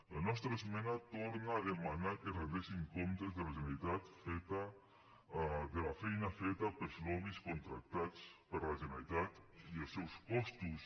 la nostra esmena torna a demanar que es rendeixin comptes de la generalitat de la feina feta pels lobbys contractats per la generalitat i els seus costos